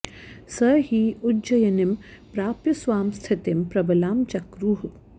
स हि उज्जयिनीं प्राप्य स्वां स्थितिं प्रबलां चक्रुः